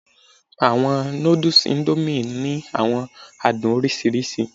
Awọn nudus Indomie ni awọn adun oriṣiriṣi